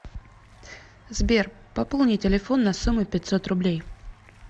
сбер пополни телефон на сумму пятьсот рублей